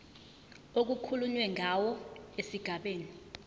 okukhulunywe ngawo esigabeni